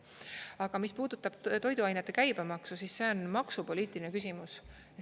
Aga mis puudutab toiduainete käibemaksu, siis see on maksupoliitiline küsimus.